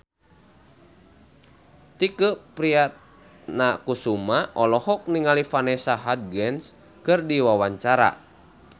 Tike Priatnakusuma olohok ningali Vanessa Hudgens keur diwawancara